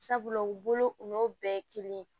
Sabula u bolo u n'o bɛɛ ye kelen ye